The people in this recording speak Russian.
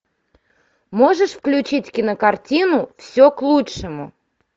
можешь включить кинокартину все к лучшему